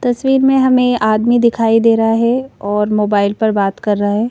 तस्वीर में हमें आदमी दिखाई दे रहा है और मोबाइल पर बात कर रहा है।